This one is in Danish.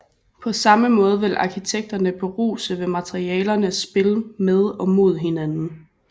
På samme måde vil arkitekterne beruse ved materialernes spil med og mod hinanden